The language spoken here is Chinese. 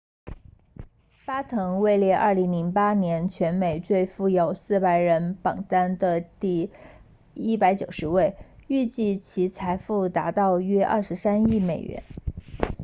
巴滕位列2008年全美最富有400人榜单第190位预计其财富达到约23亿美元